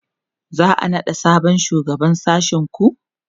za'a naɗa sabon shugaban sashen ku?